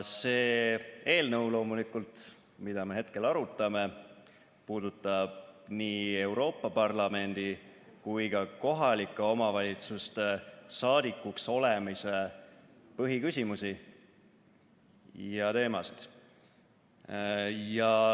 See eelnõu, mida me hetkel arutame, puudutab nii Euroopa Parlamendi kui ka kohalike omavalitsuste saadikuks olemise põhiküsimusi ja ‑teemasid.